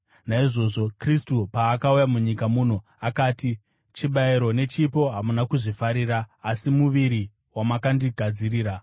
Naizvozvo Kristu, paakauya munyika muno, akati: “Chibayiro nechipo hamuna kuzvifarira, asi muviri wamakandigadzirira;